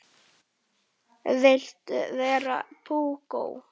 Viltu vera púkó?